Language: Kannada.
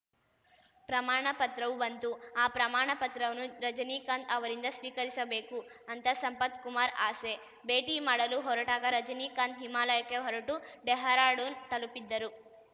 ಪ್ರಮಾಣ ಪ್ರತ್ರವೂ ಬಂತು ಆ ಪ್ರಮಾಣ ಪತ್ರವನ್ನು ರಜನಿಕಾಂತ್‌ ಅವರಿಂದ ಸ್ವೀಕರಿಸಬೇಕು ಅಂತ ಸಂಪತ್‌ ಕುಮಾರ್‌ ಆಸೆ ಭೇಟಿ ಮಾಡಲು ಹೊರಟಾಗ ರಜನಿಕಾಂತ್‌ ಹಿಮಾಲಯಕ್ಕೆ ಹೊರಟು ಡೆಹ್ರಾಡೂನ್‌ ತಲುಪಿದ್ದರು